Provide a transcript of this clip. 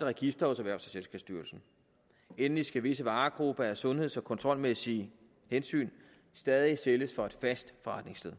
register hos erhvervs og selskabsstyrelsen endelig skal visse varegrupper af sundheds og kontrolmæssige hensyn stadig sælges fra et fast forretningssted